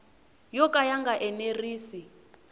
yo ka ya nga enerisi